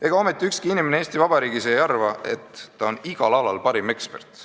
Ega ometi ükski inimene Eesti Vabariigis ei arva, et ta on igal alal parim ekspert.